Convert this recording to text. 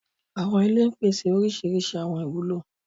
Àwọn ìlẹ̀ ń pèsè orísíríṣí àwọn ìwulo.